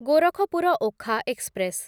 Gorakhpur Okha express